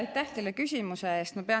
Aitäh teile küsimuse eest!